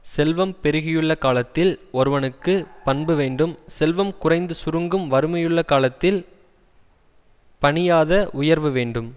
செல்வம் பெருகியுள்ள காலத்தில் ஒருவனுக்கு பண்பு வேண்டும் செல்வம் குறைந்து சுருங்கும் வறுமையுள்ள காலத்தில் பணியாத உயர்வு வேண்டும்